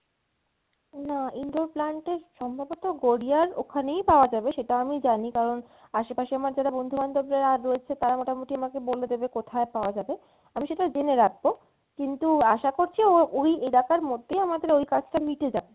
না indoor plant এর সম্ভবত গড়িয়ার ওখানেই পাওয়া যাবে সেটা আমি জানি কারন আশেপাশে যারা আমার যারা বন্ধুবান্ধব রয়েছে তারা মোটামটি আমাকে বলে দেবে কোথায় পাওয়া যাবে আমি সেটা জেনে রাখবো কিন্তু আসা করছি ওই এলাকার মধ্যেই আমাদের ওই কাজটা মিটে যাবে।